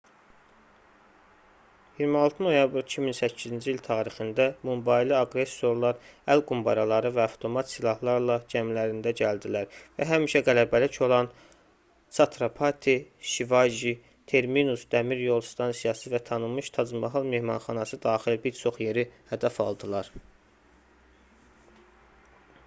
26 noyabr 2008-ci il tarixində mumbaylı aqressorlar əl qumbaraları və avtomat silahlarla gəmilərində gəldilər və həmişə qələbəlik olan chhatrapati shivaji terminus dəmiryol stansiyası və tanınmış tac-mahal mehmanxanası daxil bir çox yeri hədəf aldılar